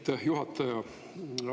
Aitäh, juhataja!